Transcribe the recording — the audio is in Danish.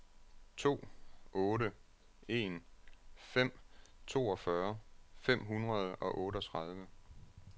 to otte en fem toogfyrre fem hundrede og otteogtredive